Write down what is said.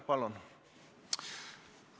Palun!